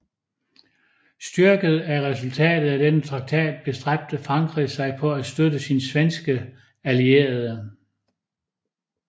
Styrket af resultatet af denne traktat bestræbte Frankrig sig på at støtte sin svenske allierede